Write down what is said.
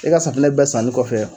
E ka safinɛ bɛɛ sanni kɔfɛ